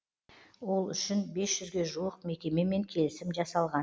ол үшін бес жүзге жуық мекемемен келісім жасалған